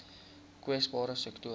kwesbare sektore